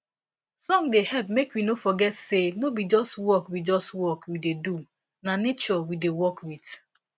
song da hep make we no forget say no be just work we just work we da do na nature we da work with